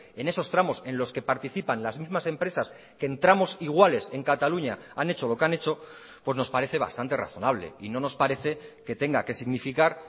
en esos tramos en los que participan las mismas empresas que en tramos iguales en cataluña han hecho lo que han hecho pues nos parece bastante razonable y no nos parece que tenga que significar